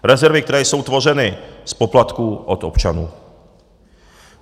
Rezerv, které jsou tvořeny z poplatků od občanů.